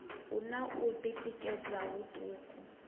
hu na u tikedza huṱuku